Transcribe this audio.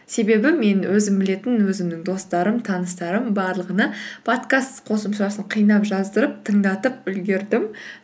себебі мен өзім білетін өзімнің достарым таныстарым барлығына подкаст қосымшасын қинап жаздырып тыңдатып үлгердім